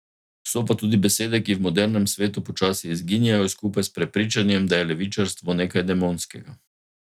So pa tudi besede, ki v modernem svetu počasi izginjajo, skupaj s prepričanjem, da je levičarstvo nekaj demonskega.